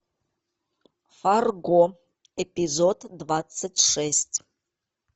фарго эпизод двадцать шесть